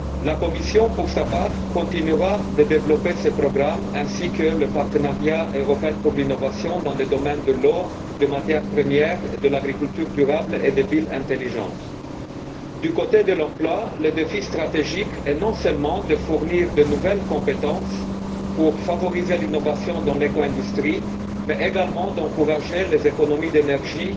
La Commission, pour sa part, continuera de développer ces programmes ainsi que le partenariat européen pour l'innovation dans les domaines de l'eau, des matières premières, de l'agriculture durable et des villes intelligentes. Du côté de l'emploi, le défi stratégique est non seulement de fournir de nouvelles compétences pour favoriser l'innovation dans l'éco industrie, mais également d'encourager les économies d'énergie